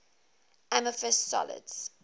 amorphous solids